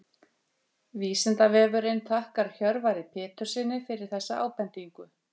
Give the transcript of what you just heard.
Vísindavefurinn þakkar Hjörvari Péturssyni fyrir þessa ábendingu.